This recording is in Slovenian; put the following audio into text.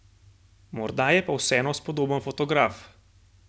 Morda je pa vseeno spodoben fotograf?